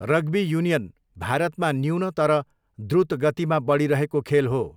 Rugby union भारतमा न्यून, तर द्रुत गतिमा बढिरहेको खेल हो।